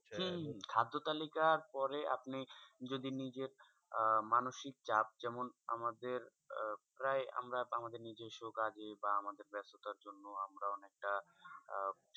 হম খাদ্য তালিকার পরে আপনি যদি নিজের মানসিক চাপ যেমন আমাদের আহ প্রায় আমরা আমাদের নিজস্ব কাজে বা আমাদের ব্যস্ততার জন্য আমরা অনেকটা আহ